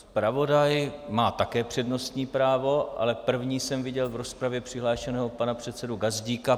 Zpravodaj má také přednostní právo, ale prvního jsem viděl v rozpravě přihlášeného pana předsedu Gazdíka.